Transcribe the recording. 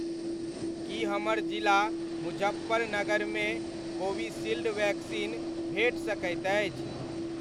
की हमर जिला मुजफ्फरनगर मे कोविशील्ड वैक्सीन भेट सकैत अछि?